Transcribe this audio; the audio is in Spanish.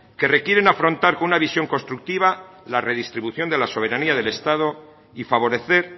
que requieren afrontar con una visión constructiva la redistribución de la soberanía del estado y favorecer